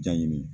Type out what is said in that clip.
Ja ɲini